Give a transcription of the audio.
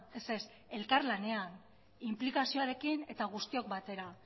ez ez elkarlanean inplikazioarekin eta guztiok batera